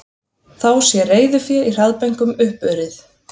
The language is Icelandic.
Þá sé reiðufé í hraðbönkum uppurið